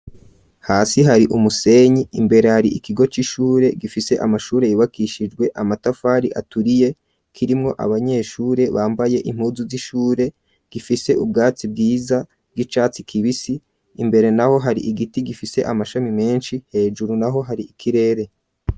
Hasi hari umusenyi imbere hari ikigo c'ishure gifise amashure yubakishijwe amatafari aturiye kirimwo abanyeshure bambaye impuzu z'ishure gifise ubwatsi bwiza bw'icatsi kibisi imbere na ho hari igiti gifise amashami menshi hejuru na ho hari ikirere.